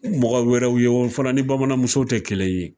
Mɔgɔ wɛrɛw ye o fana ni bamananmuso tɛ kɛlɛ ye.